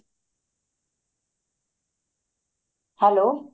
hello